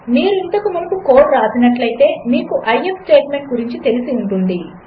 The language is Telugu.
మీరుఇంతకుమునుపుకోడ్వ్రాసినట్లైతే మీకు ఐఎఫ్ స్టేట్మెంట్గురించితెలిసిఉంటుంది